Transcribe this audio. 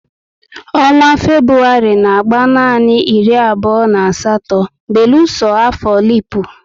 Ọnwa Febụwarị n'agba nanị iri abụo na asatọ beluso afọ lipu